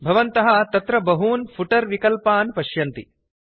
भवन्तः अत्र बहून् फुटर् विकल्पान् पश्यन्ति